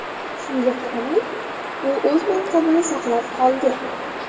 Shunga qaramay, u o‘z mansabini saqlab qoldi.